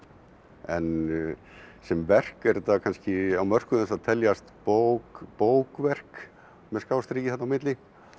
en sem verk er þetta kannski á mörkum þess að teljast bók bók verk með þarna á milli